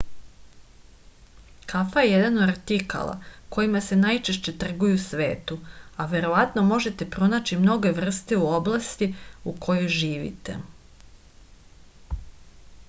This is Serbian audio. kafa je jedan od artikala kojima se najčešće trguje u svetu a verovatno možete pronaći mnoge vrste u oblasti u kojoj živite